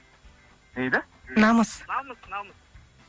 не дейді намыс намыс намыс